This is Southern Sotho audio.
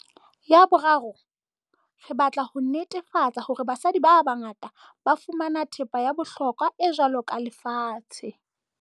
Ya boraro, re batla ho netefa-tsa hore basadi ba bangata ba fumana thepa ya bohlokwa e jwalo ka lefatshe.